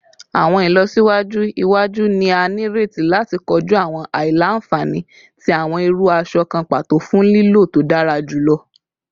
Awọn ilọsiwaju iwaju ni a nireti lati koju awọn aila-nfani ti awọn iru aṣọ kan pato fun lilo to dara julọ